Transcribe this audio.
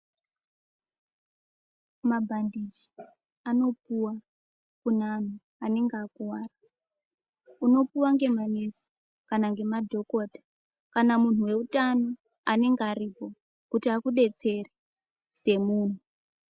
Mabhandiji anopuwa kune anhu anenge akuwara. Unopuwa ngemanesi kana ngemadhokota kana munhu weutano anenge aripo, kuti akudetsere semunhu.